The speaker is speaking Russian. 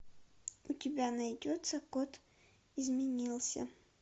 у тебя найдется кот изменился